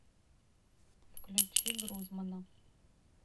включи грузмана